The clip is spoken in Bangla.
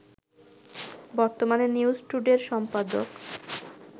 বর্তমানে নিউজ টুডের সম্পাদক